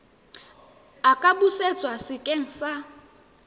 a ka busetswa sekeng sa